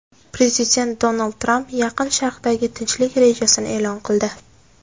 Prezident Donald Tramp Yaqin Sharqdagi tinchlik rejasini e’lon qildi.